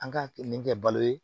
An ka kilikɛ balo ye